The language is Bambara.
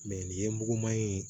nin ye muguman ye